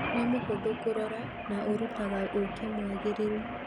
Nĩ mũhũthũ kũrora na ũrutaga ũkĩ mwagĩrĩru